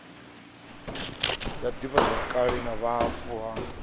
ya divhazwakale na vhufa ha